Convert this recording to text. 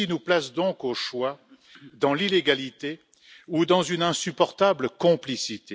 Cela nous place donc, au choix, dans l'illégalité ou dans une insupportable complicité.